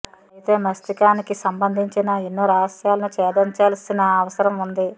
అయితే మస్తిష్కానికి సంబంధించిన ఎన్నో రహస్యాలను ఛేదించాల్సిన అవసరం ఉంది